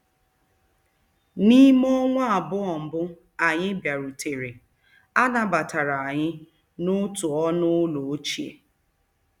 N'ime ọnwa abụọ mbụ anyị bịarutere, a nabatara anyị n'otu ọnụ ụlọ ochie.